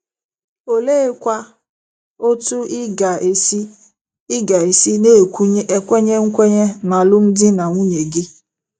Oleekwa otú ị ga-esi ị ga-esi na-ekwenye ekwenye n'alụmdi na nwunye gị?